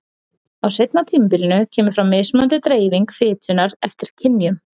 Á seinna tímabilinu kemur fram mismunandi dreifing fitunnar eftir kynjum.